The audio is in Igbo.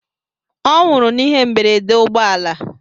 Ọ nwụrụ n'ihe mberede ụgbọ ala.